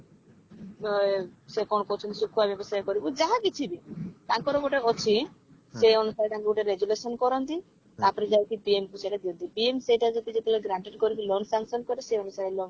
ଏ ସେ କଣ କହୁଛନ୍ତି ଶୁଖୁଆ ବ୍ୟବସାୟ କରିବୁ ଯାହା କିଛି ବି ତାଙ୍କର ଗୋଟେ ଅଛି ସେ ଅନୁସାରେ ତାଙ୍କୁ ଗୋଟେ resolution କରନ୍ତି ତାପରେ ଯାଇକି TN କୁ ସେଟା ଦିଅନ୍ତି TN ସେଇଟା ଯଦି ଯେତେବେଳେ granted କରିକି loan sanction କରେ ସେଇ ଅନୁସାରେ loan